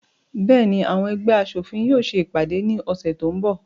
Bẹ́ẹ̀ni, àwọn ẹgbẹ́ aṣòfin yóò se ìpàdé ní ọ̀sẹ̀ tó ń bọ̀.